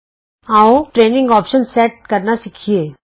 ਆਉ ਟਰੇਨਿੰਗ ਵਿਕਲਪ ਸੈਟ ਕਰਨਾ ਸਿੱਖੀਏ